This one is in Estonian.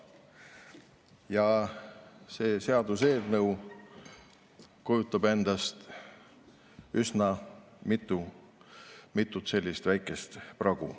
Ja see seaduseelnõu kujutab endast üsna mitut väikest pragu.